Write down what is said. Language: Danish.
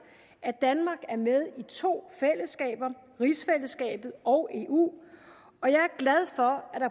at danmark er med i to fællesskaber rigsfællesskabet og eu